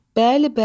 Bəli, bəli.